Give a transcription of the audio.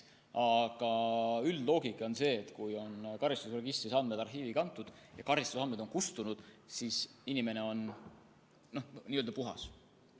Aga üldloogika on see, et kui karistusregistrist on andmed arhiivi kantud ja karistusandmed kustunud, siis on inimene n-ö puhas.